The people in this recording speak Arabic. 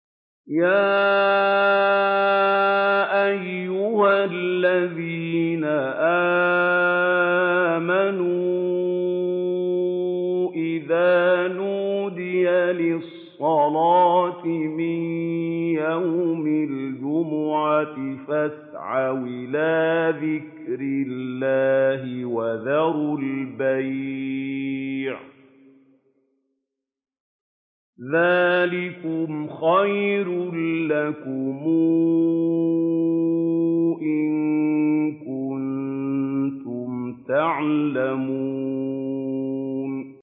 يَا أَيُّهَا الَّذِينَ آمَنُوا إِذَا نُودِيَ لِلصَّلَاةِ مِن يَوْمِ الْجُمُعَةِ فَاسْعَوْا إِلَىٰ ذِكْرِ اللَّهِ وَذَرُوا الْبَيْعَ ۚ ذَٰلِكُمْ خَيْرٌ لَّكُمْ إِن كُنتُمْ تَعْلَمُونَ